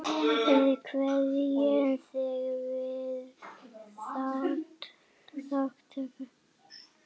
Við kveðjum þig með þökkum.